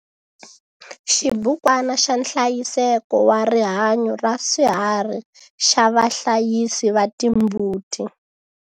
Xibukwana xa nhlayiseko wa rihanyo ra swiharhi xa vahlayisi va timbuti.